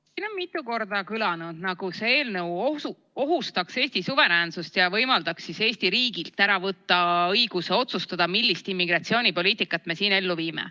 Siin on mitu korda kõlanud, nagu see eelnõu ohustaks Eesti suveräänsust ja võimaldaks Eesti riigilt ära võtta õiguse otsustada, millist immigratsioonipoliitikat me siin ellu viime.